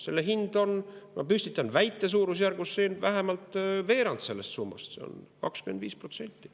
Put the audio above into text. Selle hind on, ma püstitan väite, suurusjärgus vähemalt veerand sellest summast, 25%.